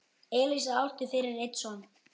Elísa átti fyrir einn son.